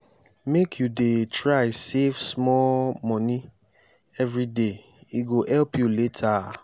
make you dey try save small moni everyday e go help you later.